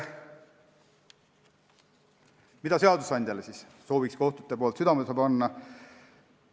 Mida sooviks kohtute poolt seadusandjale südamele panna?